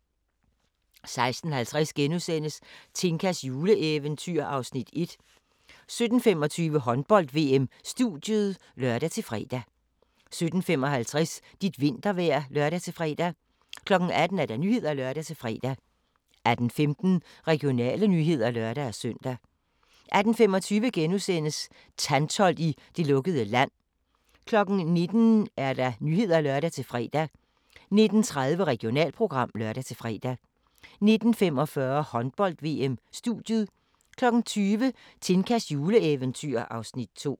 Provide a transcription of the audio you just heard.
16:50: Tinkas juleeventyr (Afs. 1)* 17:25: Håndbold: VM - studiet (lør-fre) 17:55: Dit vintervejr (lør-fre) 18:00: Nyhederne (lør-fre) 18:15: Regionale nyheder (lør-søn) 18:25: Tantholdt i det lukkede land * 19:00: Nyhederne (lør-fre) 19:30: Regionalprogram (lør-fre) 19:45: Håndbold: VM - studiet 20:00: Tinkas juleeventyr (Afs. 2)